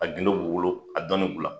A gundo b'u bolo , a dɔnni bi'u la.